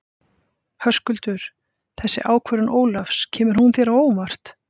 Höskuldur: Þessi ákvörðun Ólafs, kemur hún þér á óvart?